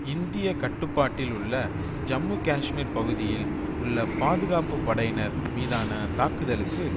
இந்திய கட்டுப்பாட்டில் உள்ள ஜம்மு காஷ்மீர் பகுதியில் உள்ள பாதுகாப்பு படையினர் மீதான தாக்குதலுக்கு